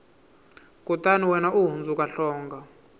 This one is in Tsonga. kutani wena u hundzuka hlonga